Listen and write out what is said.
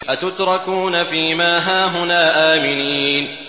أَتُتْرَكُونَ فِي مَا هَاهُنَا آمِنِينَ